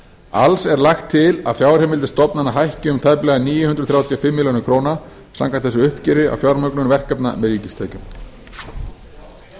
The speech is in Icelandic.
alls er lagt til að fjárheimildir stofnana lækki um tæplega níu hundruð þrjátíu og fimm milljónir króna samkvæmt þessu uppgjöri á fjármögnun verkefna með ríkistekjum